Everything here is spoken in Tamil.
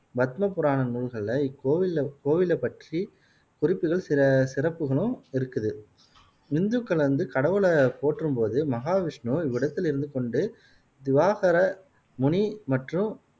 பத்ம புராண நூல்களில் இக்கோவில்ல கோவிலை பற்றி குறுப்புகள் சில சிறப்புகளும் இருக்குது இந்துக்கள் வந்து கடவுளை போற்றும் போது மகாவிஷ்ணு இவ்விடத்தில் இருந்து கொண்டு விவாகர முனி மற்றும்